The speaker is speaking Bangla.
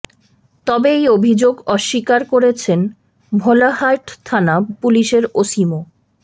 তবে এই অভিযোগ অস্বীকার করেছেন ভোলাহাট থানা পুলিশের ওসি মো